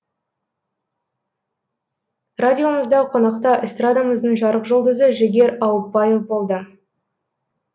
радиомызда қонақта эстрадамыздың жарық жұлдызы жігер ауыпбаев болды